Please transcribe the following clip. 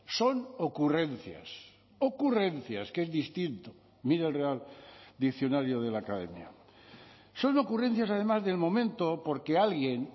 son ocurrencias ocurrencias que es distinto mire el real diccionario de la academia son ocurrencias además del momento porque alguien